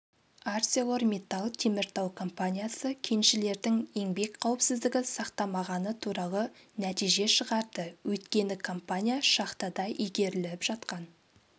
арселормиттал теміртау компаниясы кеншілердің еңбек қауіпсіздігі сақтамағаны туралы нәтиже шығарды өйткені компания шахтада игеріліп жатқан